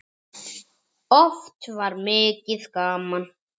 Oft var mikið gaman.